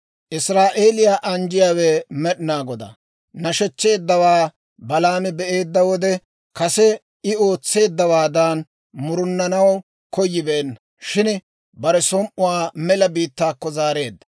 Israa'eeliyaa anjjiyaawe Med'inaa Godaa nashechcheeddawaa Balaami be'eedda wode, kase I ootseeddawaadan murunanaw koyibeenna; shin bare som"uwaa mela biittaakko zaareedda.